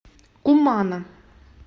кумана